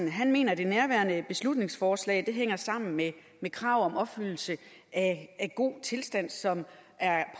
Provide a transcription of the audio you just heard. mener det nærværende beslutningsforslag hænger sammen med med krav om opfyldelse af den gode tilstand som er